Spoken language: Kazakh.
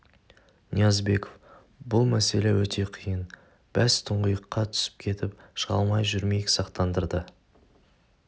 ниязбеков бұл мәселе өте қиын бәз тұңғиыққа түсіп кетіп шыға алмай жүрмейік сақтандырды